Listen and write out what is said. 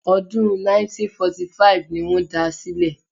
Ọdún 1945 ni wọ́n da sílẹ̀